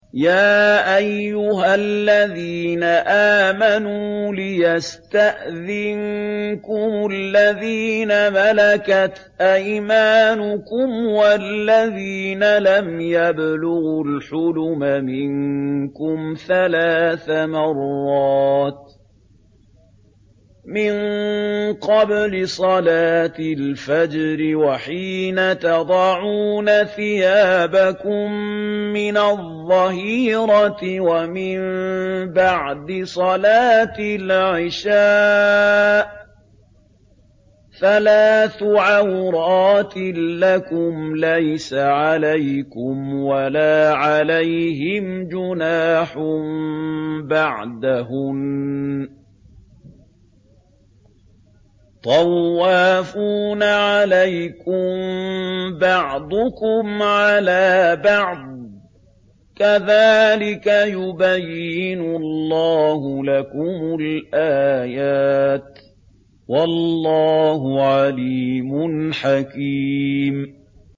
يَا أَيُّهَا الَّذِينَ آمَنُوا لِيَسْتَأْذِنكُمُ الَّذِينَ مَلَكَتْ أَيْمَانُكُمْ وَالَّذِينَ لَمْ يَبْلُغُوا الْحُلُمَ مِنكُمْ ثَلَاثَ مَرَّاتٍ ۚ مِّن قَبْلِ صَلَاةِ الْفَجْرِ وَحِينَ تَضَعُونَ ثِيَابَكُم مِّنَ الظَّهِيرَةِ وَمِن بَعْدِ صَلَاةِ الْعِشَاءِ ۚ ثَلَاثُ عَوْرَاتٍ لَّكُمْ ۚ لَيْسَ عَلَيْكُمْ وَلَا عَلَيْهِمْ جُنَاحٌ بَعْدَهُنَّ ۚ طَوَّافُونَ عَلَيْكُم بَعْضُكُمْ عَلَىٰ بَعْضٍ ۚ كَذَٰلِكَ يُبَيِّنُ اللَّهُ لَكُمُ الْآيَاتِ ۗ وَاللَّهُ عَلِيمٌ حَكِيمٌ